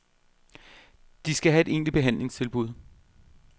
De skal have et egentligt behandlingstilbud.